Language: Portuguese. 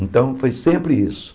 Então, foi sempre isso.